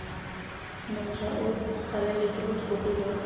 montšhwa o tlaleletsa botlhokwa jwa